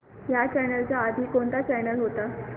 ह्या चॅनल च्या आधी कोणता चॅनल होता